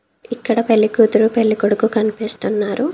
ఇక్కడ పెళ్లి కూతురు పెళ్లి కొడుకు కనిపిస్తున్నారు.